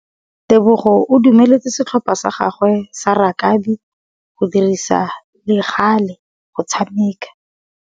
Tebogô o dumeletse setlhopha sa gagwe sa rakabi go dirisa le galê go tshameka.